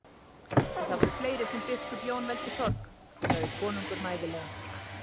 Og það eru fleiri sem biskup Jón veldur sorg, sagði konungur mæðulega.